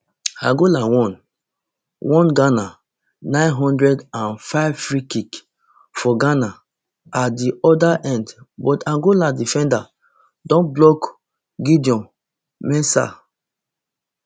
angola one one ghana nine hundred and fivefreekick for ghana at di oda end but angola defenders don block gideon mensah